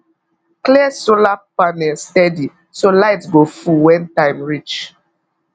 clean solar panel steady so light go full when time reach